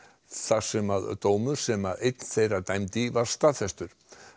þar sem dómur sem einn þeirra dæmdi í var staðfestur